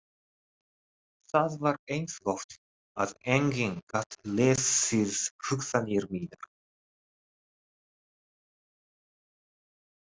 Það var eins gott að enginn gat lesið hugsanir mínar.